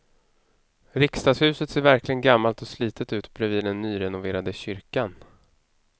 Riksdagshuset ser verkligen gammalt och slitet ut bredvid den nyrenoverade kyrkan.